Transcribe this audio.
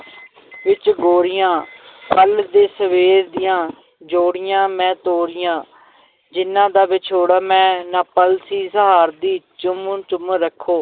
ਵਿੱਚ ਗੋਰੀਆਂ ਕੱਲ੍ਹ ਦੇ ਸਵੇਰ ਦੀਆਂ ਜੋੜੀਆਂ ਮੈਂ ਤੋਰੀਆਂ ਜਿਨ੍ਹਾਂ ਦਾ ਵਿਛੋੜਾ ਮੈਂ ਨਾ ਪਲ ਸੀ ਸਹਾਰਦੀ ਚੁੰਮ ਚੁੰਮ ਰੱਖੋ